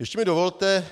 Ještě mi dovolte